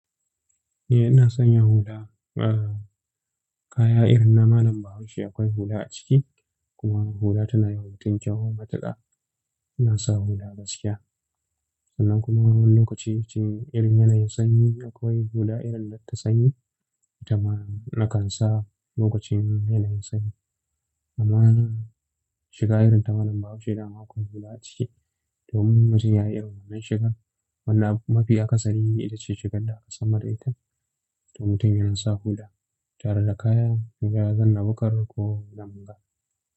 Eh, ina sanya hula. Kaya irin na malam babaushe akwai hula a ciki. Kuma hula tana yiwa mutum kyau matuƙa. Ina sa hula gaskiya. Sannan kuma wani lokacin irin yanayin sanyi akwai hula irin nata sanyi. Itama nakan sa lokacin yanayin sanyi. Amma shiga irin ta malam bahaushe dama aƙwai hula a ciki. Domin mutum yayi irin wannan shigar. Wannan mafi akasari ita ce shigar da aka sanmu da ita. To mutum yasa hula tareda kaya. Koya zanna bukar ko nanba.